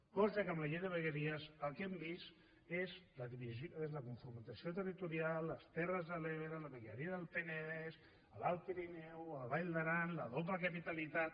cosa que amb la llei de vegueries el que hem vist és la confrontació territorial les terres de l’ebre la vegueria del penedès l’alt pirineu la vall d’aran la doble capitalitat